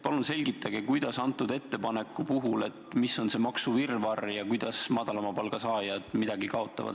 Palun selgitage, mis antud ettepaneku puhul on see maksuvirvarr ja kuidas madalama palga saajad midagi kaotavad.